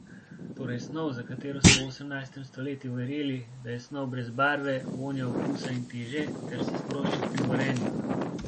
Torej snov, za katero so v osemnajstem stoletju verjeli, da je snov brez barve, vonja, okusa in teže ter se sprošča pri gorenju.